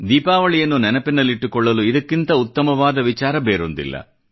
ದೀಪಾವಳಿಯನ್ನು ನೆನಪಿನಲ್ಲಿಟ್ಟುಕೊಳ್ಳಲು ಇದಕ್ಕಿಂತ ಉತ್ತಮವಾದ ವಿಚಾರ ಬೇರೊಂದಿಲ್ಲ